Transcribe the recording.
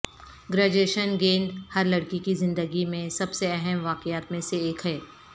graduation گیند ہر لڑکی کی زندگی میں سب سے اہم واقعات میں سے ایک ہے